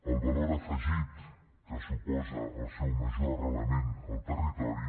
el valor afegit que suposa el seu major arrelament al territori